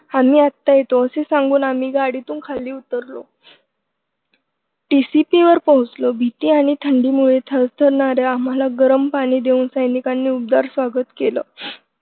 आम्ही आता येतो असं सांगून आम्ही गाडीतून उतरलो TCP वर पोहोचलो भीती आणि थंडीमुळे थरथरणाऱ्या आम्हाला गरम पाणी देऊन सैनिकांनी उबदार स्वागत केलं.